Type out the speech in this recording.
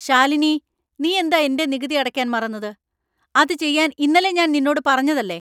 ശാലിനി നീ എന്താ എന്‍റെ നികുതി അടയ്ക്കാൻ മറന്നത്? അത് ചെയ്യാൻ ഇന്നലെ ഞാൻ നിന്നോട് പറഞ്ഞതല്ലേ ?